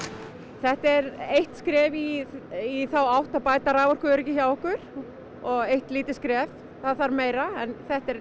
þetta er eitt skref í þá átt að bæta raforkuöryggi hjá okkur eitt lítið skref það þarf meira en þetta er